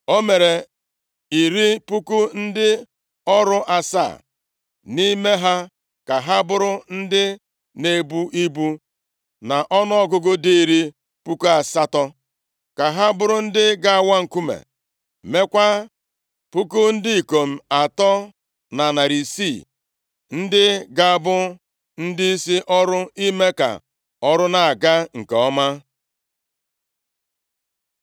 O mere iri puku ndị ọrụ asaa (70,000) nʼime ha ka ha bụrụ ndị na-ebu ibu, na ọnụọgụgụ dị iri puku asatọ (80,000) ka ha bụrụ ndị ga-awa nkume, meekwa puku ndị ikom atọ na narị isii (3,600), ndị ga-abụ ndịisi ọrụ ime ka ọrụ na-aga nke ọma.